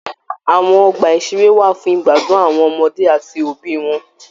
Àwọn ọgbà-ìṣeré wà fún igbadun àwọn ọmọdé áti òbí wọn.